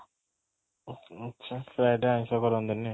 ଆଚ୍ଛା, ଆଚ୍ଛା Friday ଆଇଁଷ କରନ୍ତିନି